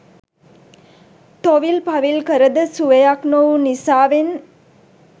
තොවිල් පවිල් කරද සුවයක් නොවු නිසාවෙන්